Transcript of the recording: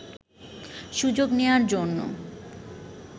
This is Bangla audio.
সুযোগ নেয়ার জন্য